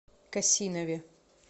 косинове